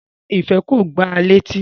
Rárá, Ife ko gbá a leti